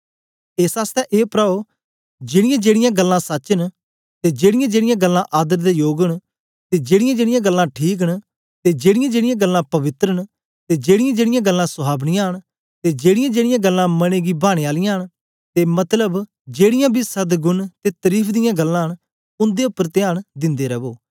एस आसतै ए प्राओ जेड़ीजेड़ीयां गल्लां सच्च न ते जेड़ीयांजेड़ीयां गल्लां आदर दे योग न ते जेड़ीयांजेड़ीयां गल्लां ठीक न ते जेड़ीयांजेड़ीयां गल्लां पवित्र न ते जेड़ीयांजेड़ीयां गल्लां सुहावनीयां न ते जेड़ीयांजेड़ीयां गल्लां मने गी भाने आलियां न मतलब जेड़ीयां बी सदगुण ते तरीफ दियां गल्लां न उन्दे उपर त्यान दिन्दे रवो